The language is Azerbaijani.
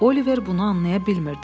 Oliver bunu anlaya bilmirdi.